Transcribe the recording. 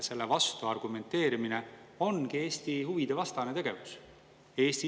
Oleme kokku leppinud või õigemini sihiks seadnud alkoholi‑, tubaka‑ ja bensiiniaktsiisi tõusud aastateks 2025–2028.